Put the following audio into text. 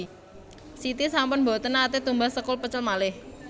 Siti sampun mboten nate tumbas sekul pecel malih